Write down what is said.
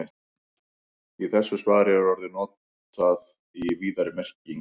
Í þessu svari er orðið notað í víðari merkingunni.